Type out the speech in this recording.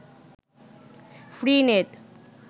free net